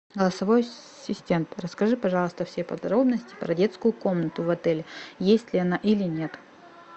голосовой ассистент расскажи пожалуйста все подробности про детскую комнату в отеле есть ли она или нет